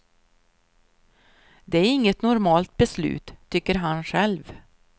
Det är inget normalt beslut, tycker han själv.